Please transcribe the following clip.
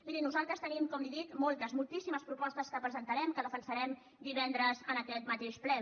miri nosaltres tenim com li ho dic moltes moltíssimes propostes que presentarem que defensarem divendres en aquest mateix ple